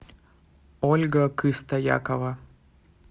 ольга кыстоякова